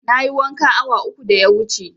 Na yi wanka awa uku da ya wuce